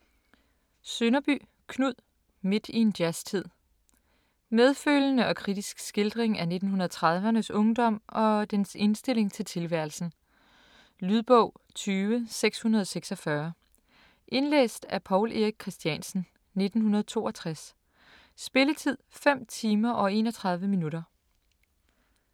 Sønderby, Knud: Midt i en jazztid Medfølende og kritisk skildring af 1930'rnes ungdom og dens indstilling til tilværelsen. Lydbog 20646 Indlæst af Paul Erik Christiansen, 1962. Spilletid: 5 timer, 31 minutter.